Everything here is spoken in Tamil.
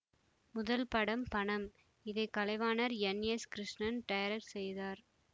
முதல் படம் பணம் இதை கலைவாணர் என்எஸ்கிருஷ்ணன் டைரக்ட் செய்தார்